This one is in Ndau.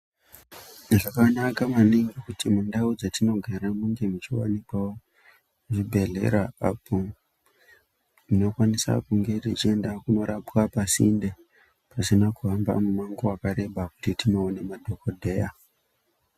Zvakanaka maningi kuti mundaraunda dzatinogara munge muchiwanikwawo zvibhedhlera apo tinofana kunge tichinirapwa pasinde pasina kuhamba hamba mumango wakareba kuti tindoona madhokodheya..